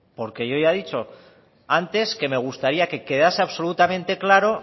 porque yo ya he dicho antes que me gustaría que quedase absolutamente claro